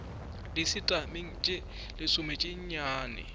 disetamene tše lesome tše nnyane